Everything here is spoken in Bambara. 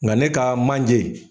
Nka ne ka manje.